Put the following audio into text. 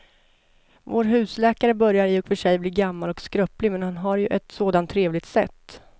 Vår husläkare börjar i och för sig bli gammal och skröplig, men han har ju ett sådant trevligt sätt!